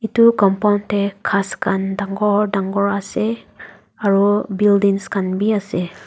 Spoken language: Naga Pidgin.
etu compound tey ghas khan dangor dangor ase aro buildings khan b ase.